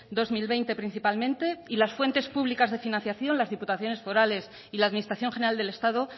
dos mil veinte principalmente y las fuentes públicas de financiación las diputaciones forales y la administración general del estado